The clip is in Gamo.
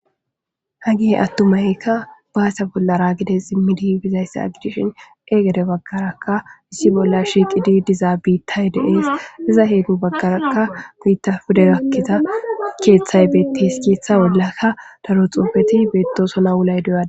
ha gihe attumaykka baasa bollaraagides immidi bizayssa agidishin egede baggaraka issi bolla shiiqidi diza biittay deees iza heedu baggaraakka guyitta fude gakkiza keeththay beettes keeththa bollakka daro xoofeti beettosona wulay doyada